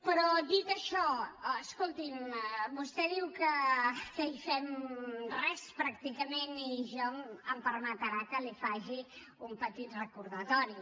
però dit això escolti’m vostè diu que hi fem res pràcticament i jo em permetrà que li faci un petit recordatori